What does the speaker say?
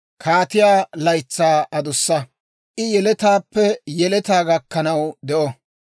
Kaatiyaa laytsaa adussa; I yeletaappe yeletaa gakkanaw de'o.